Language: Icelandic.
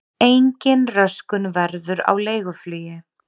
Engin röskun verður á leiguflugi